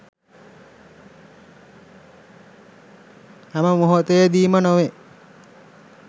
හැම මොහොතේදීම නොවේ